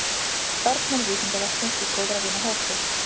Starfsmenn Vísindavefsins í góðra vina hópi.